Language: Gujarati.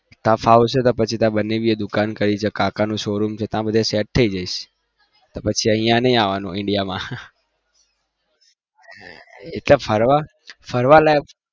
ત્યાં ફાવશે તો પછી કાકા નું શો રૂમ છે પછી ત્યાં sat થઇ જઈશ પછી નહિ આવાનું Indian મા ફરવા ફરવા લાયક